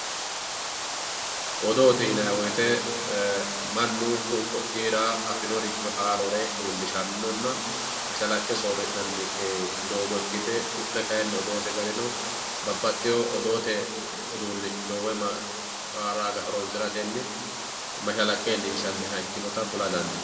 Odoote yinani woyite mannu afinoricho ku`u ku`iira odoo iilishanona mashalaqe soorinani doogo ikite babaxewo woyi odoote uduunicho woyi mara horonsirateni mashalaqe iilishanita kula dandinani.